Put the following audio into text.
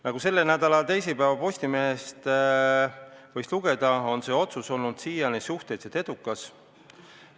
Nagu selle nädala teisipäeva Postimehest võis lugeda, on see otsus siiani suhteliselt edukaks osututud.